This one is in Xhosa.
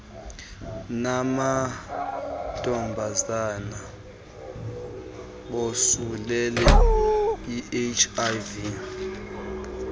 namantombazana bosulelwe yihiv